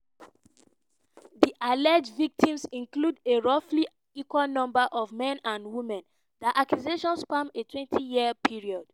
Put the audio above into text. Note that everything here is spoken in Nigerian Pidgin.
di alleged victims include a roughly equal number of men and women; dia accusations span a 20-year period.